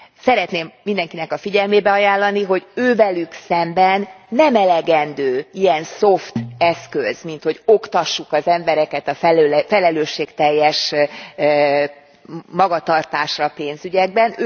Szeretném mindenkinek a figyelmébe ajánlani, hogy velük szemben nem elegendő ilyen szoft eszköz, hogy oktassuk az embereket a felelősségteljes magatartásra pénzügyekben.